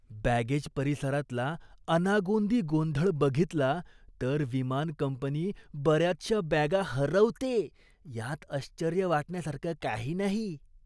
Baggage परिसरातला अनागोंदी गोंधळ बघितला तर विमान कंपनी बऱ्याचशा बॅगा हरवते यात आश्चर्य वाटण्यासारखं काही नाही.